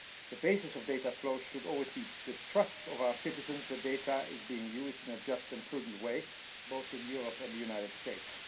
The basis of data flows should always be the trust of our citizens that the data are being used in a just and prudent way both in Europe and the United States.